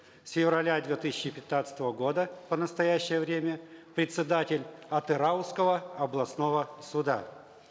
с февраля две тысячи пятнадцатого года по настоящее время председатель атырауского областного суда